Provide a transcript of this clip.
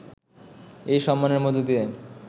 এই সম্মানের মধ্য দিয়ে